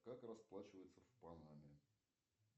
как расплачиваются в панаме